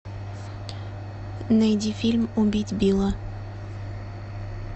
найди фильм убить билла